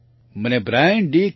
ખારપ્રાણ Brian D